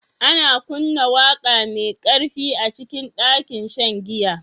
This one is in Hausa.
Ana kunna waƙa mai ƙarfi a cikin ɗakin shan giya